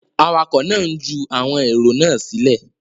Awakọ̀ náà ń ju àwọn èrò náà sílẹ̀.